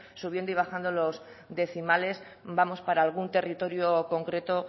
subiendo y bajando los décimales vamos para algún territorio concreto